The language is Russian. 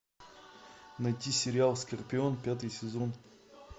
найти сериал скорпион пятый сезон